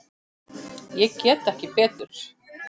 Ég get ekki betur.